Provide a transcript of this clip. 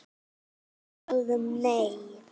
Við sögðum nei!